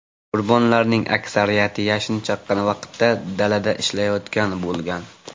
Qurbonlarning aksariyati yashin chaqqan vaqtda dalada ishlayotgan bo‘lgan.